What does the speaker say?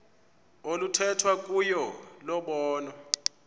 oluthethwa kuyo lobonwa